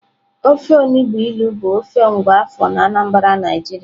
Ofe onugbụ ilu bụ ofe nwa afọ na Anambra Naijiria